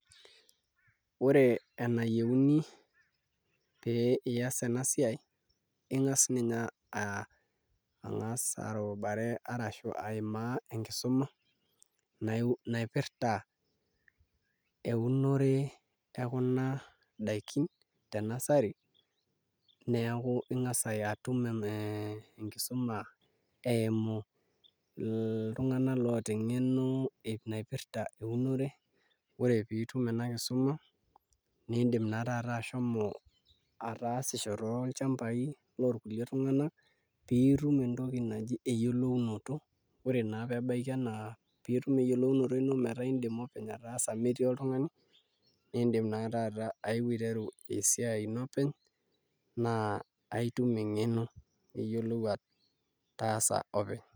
Ore enayieuni pee ias ena siai ing'as ninye arubare arashu aimaa enkisuma naipirta eunore ekuna daikin te nursery neeku ing'as atum ee enkisuma eimu iltung'anak oota eng'eno naipirta eunore ore pee itum ena kisuma niidim naa taata ashomo ataasisho tolchambai lorkulie tung'anak pee itum entoki naji eyiolounoto ore naa pee ebaiki enaa pee itum eyiolounoto ino pee itum ataasa metii oltung'ani niidim naa taata ayeu aiteru esiai ino openy naa aitum eng'eno pee iyiolou ataasa openy'.